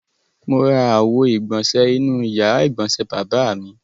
Mo ra àwo-ìgbọ̀nṣẹ̀ inú ìyàrá-ìgbọ̀nsẹ̀ bàbá mi.